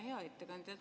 Hea ettekandja!